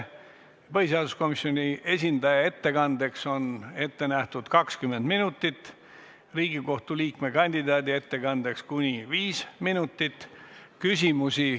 Põhiseaduskomisjoni esindaja ettekandeks on ette nähtud kuni 20 minutit, Riigikohtu liikme kandidaadi ettekandeks kuni viis minutit.